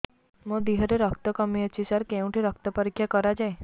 ମୋ ଦିହରେ ରକ୍ତ କମି ଅଛି ସାର କେଉଁଠି ରକ୍ତ ପରୀକ୍ଷା କରାଯାଏ